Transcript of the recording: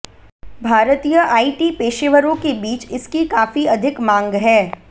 भारतीय आईटी पेशेवरों के बीच इसकी काफी अधिक मांग है